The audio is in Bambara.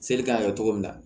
Seli kan ka kɛ cogo min na